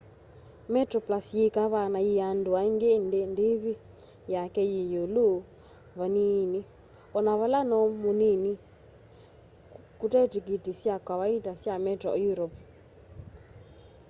metroplus yi kavaa na yii andu aingi indi ndivi yake yi iulu va nini ona vala no munini kute tikiti sya kawaita sya metro europe